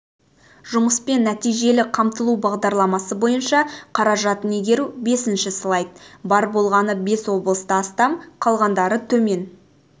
жұмыспен нәтижелі қамтылу бағдарламасы бойынша қаражатын игеру бесінші слайд бар болғаны бес облыста астам қалғандары төмен